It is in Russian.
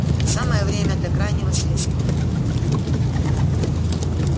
самое время для крайнего средства